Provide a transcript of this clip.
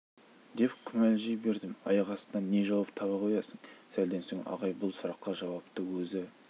деп күмілжи бердім аяқ астынан не жауап таба қоясың сәлден соң ағай бұл сұраққа жауапты өзі